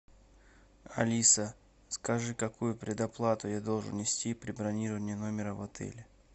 алиса скажи какую предоплату я должен внести при бронировании номера в отеле